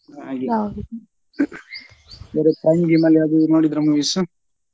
ಬೇರೆ ತಮಿಳ್ ಗಿಮಿಳ್ ಏನಾದ್ರೂ ನೋಡಿದ್ರಾ movies ?